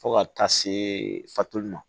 Fo ka taa se fatulu ma